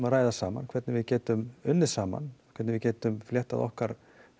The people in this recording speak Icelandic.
ræða saman hvernig við getum unnið saman hvernig við getum fléttað okkar